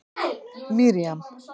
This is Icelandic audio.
Miriam